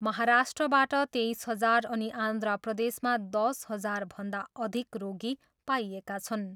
महाराष्ट्रबाट तेइस हजार अनि आन्ध्र प्रदेशमा दस हजारभन्दा अधिक रोगी पाइएका छन्।